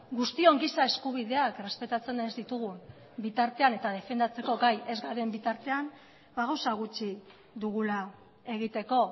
guztion giza eskubideak errespetatzen ez ditugun bitartean eta defendatzeko gai ez garen bitartean gauza gutxi dugula egiteko